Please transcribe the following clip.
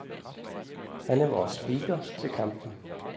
Han er vores speaker til kampen.